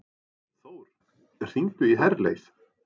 Þór, hringdu í Herleif.